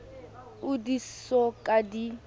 oo di so ka di